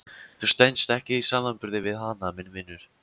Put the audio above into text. Þú stenst ekki samanburð við hana minn vinur.